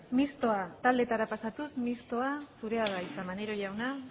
ez taldetara pasatuz mistoa zurea da hitza maneiro jauna